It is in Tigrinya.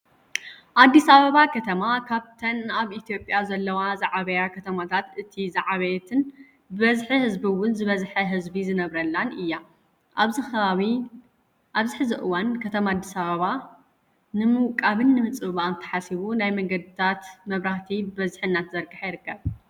ኣዲስ ኣበባ ከተማ ካብተን ኣብ ኢትዮጵያ ዘለዎ ዝዓበያ ከተማታት እቲ ዝሓበየትን ብበዝሒ ህዝቢ እውን ዝበዝሐ ህዝቢ ዝነብረላን እያ። ኣብዚ ሕዚ እዋን ከተማ ኣዲስ ኣበባ ንምውቃብን ንምፅብባቅን ተሓሲቡ ናይ መንገድታት መብራህቲ ብበዝሒ እናተዘርገሓ ይርከብ።